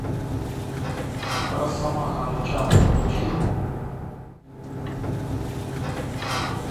росомаха начало включи